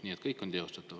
Nii et kõik on teostatav.